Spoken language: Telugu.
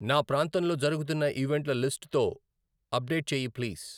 నా ప్రాంతంలో జరుగుతున్న ఈవెంట్ల లిస్ట్ తో అప్డేట్ చెయ్యి ప్లీజ్.